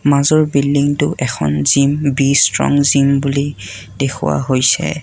মাজৰ বিল্ডিংটো এখন জিম বি ষ্ট্ৰং জিম বুলি দেখুওৱা হৈছে।